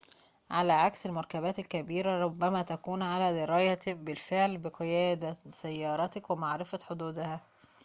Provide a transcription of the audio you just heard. على عكس المركبات الكبيرة ربما تكون على درايةٍ بالفعل بقيادة سيارتك ومعرفة حدودها